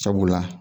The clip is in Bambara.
Sabula